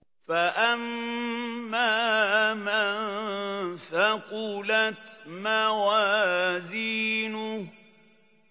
فَأَمَّا مَن ثَقُلَتْ مَوَازِينُهُ